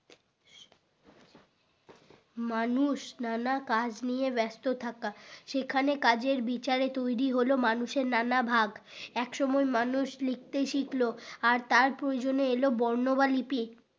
মানুষ নানা কাজ নিয়ে ব্যাস্ত থাকা সেখানে কাজের বিচারে তৈরী হলো মানুষের নানা ভাগ এক সময় মানুষ লিখতে শিখলো আর তার প্ৰয়োজনে এল বর্ণ বা লিপি